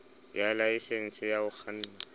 ya laesense ya ho kganna